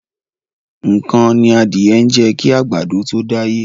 Nǹkan ni adìẹ ń jẹ kí àgbàdo tó dáyé.